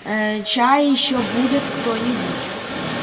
ээ чай ещё будет кто-нибудь